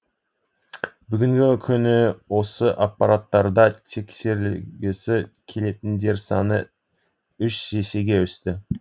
бүгінгі күні осы аппараттарда тексерілгісі келетіндер саны үш есеге өсті